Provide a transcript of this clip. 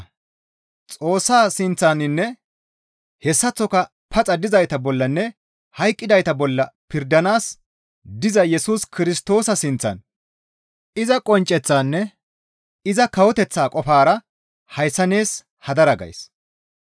Xoossa sinththaninne hessaththoka paxa dizayta bollanne hayqqidayta bolla pirdanaas diza Yesus Kirstoosa sinththan iza qoncceththaanne iza kawoteththaa qofara hayssa nees hadara gays.